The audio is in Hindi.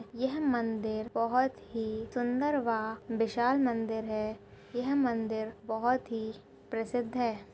यह मंदिर बहुत ही सुन्दर वह विशाल मंदिर है यह मंदिर बहुत ही प्रसिद्ध है।